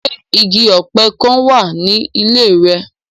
Ṣe igi ọpẹ kan wa ni ile rẹ?